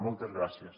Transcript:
moltes gràcies